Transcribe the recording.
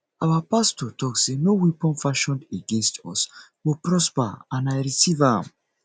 our pastor talk say no weapon fashioned against us go prosper and i receive am